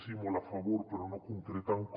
sí molt a favor però no concreten com